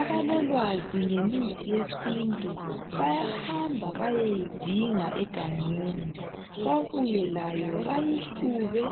Abalolwazi ngemithi yesintu bayahamba bayeyidinga egangeni babuye layo bayihlube